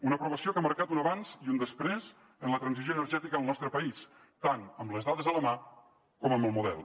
una aprovació que ha marcat un abans i un després en la transició energètica al nostre país tant amb les dades a la mà com amb el model